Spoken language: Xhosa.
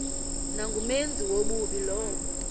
nangumenzi wobubi lowo